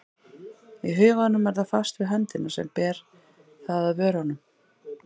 Í huganum er það fast við höndina sem ber það að vörunum.